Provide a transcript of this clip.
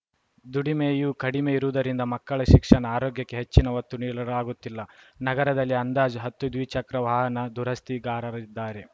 ದುಡಿಮೆಯೂ ಕಡಿಮೆ ಇರುವುದರಿಂದ ಮಕ್ಕಳ ಶಿಕ್ಷಣ ಆರೋಗ್ಯಕ್ಕೆ ಹೆಚ್ಚಿನ ಒತ್ತು ನೀಡಲಾಗುತ್ತಿಲ್ಲ ನಗರದಲ್ಲಿ ಅಂದಾಜು ಹತ್ತು ದ್ವಿಚಕ್ರ ವಾಹನ ದುರಸ್ತಿಗಾರರಿದ್ದಾರೆ